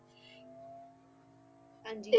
ਹਾਂਜੀ